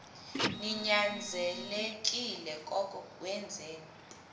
ninyanzelekile koko wenzeni